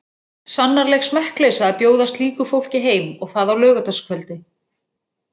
Sannarleg smekkleysa að bjóða slíku fólki heim og það á laugardagskvöldi.